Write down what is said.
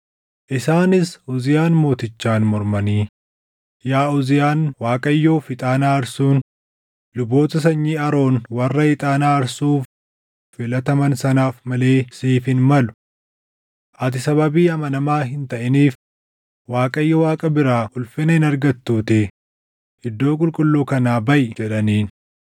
Isaanis Uziyaan mootichaan mormanii, “Yaa Uziyaan Waaqayyoof ixaana aarsuun luboota sanyii Aroon warra ixaana aarsuuf filataman sanaaf malee siif hin malu. Ati sababii amanamaa hin taʼiniif Waaqayyo Waaqa biraa ulfina hin argattuutii iddoo qulqulluu kanaa baʼi” jedhaniin.